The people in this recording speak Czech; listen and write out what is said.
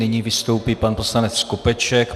Nyní vystoupí pan poslanec Skopeček.